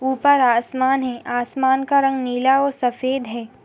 ऊपर आसमान है आसमान का रंग नीला और सफेद है।